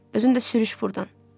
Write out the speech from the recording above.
Özün də sürüş burdan.